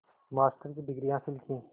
master की degree हासिल की